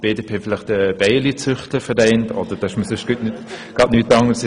Die BDP hat vielleicht den Bienenzüchterverein – mir kam gerade nichts Anderes in den Sinn.